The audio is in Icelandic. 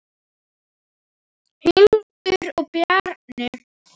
Hildur og Bjarni.